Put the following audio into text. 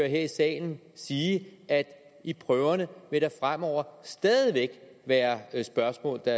her i salen sige at i prøverne vil der fremover stadig væk være spørgsmål der